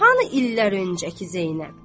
Hanı illər öncəki Zeynəb?